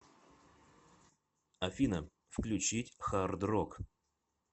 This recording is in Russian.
афина включить хард рок